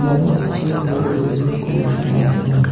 iano an·ching nok building-ko nikna man·enga.